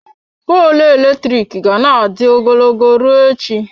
Poolụ eletrik ga na-adị ogologo ruo echi.